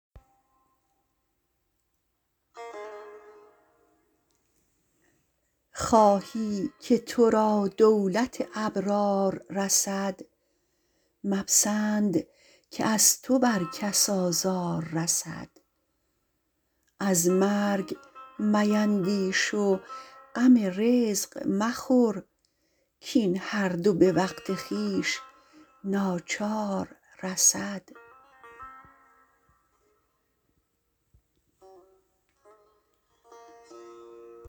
خواهی که ترا دولت ابرار رسد مپسند که از تو بر کس آزار رسد از مرگ میندیش و غم رزق مخور کین هر دو به وقت خویش ناچار رسد